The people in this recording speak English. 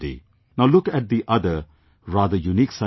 Now look at the other, rather unique, side of it